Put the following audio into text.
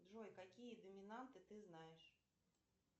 джой какие доминанты ты знаешь